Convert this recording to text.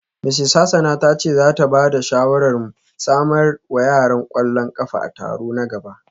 Mrs Hassan ta ce za ta ba da shawarar mu samar wa yara kwallon kafa a taro na gaba